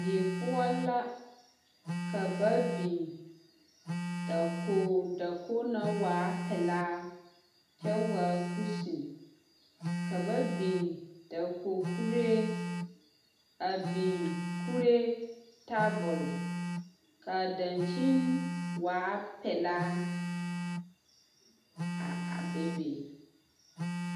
Die poɔ la ka ba biŋ dakogre dakogi naŋ waa pelaa kyɛ waa kusine ka ba biŋ dakogi kuree a biŋ kuree tabol ka a dankyini waa pelaa a a bebe.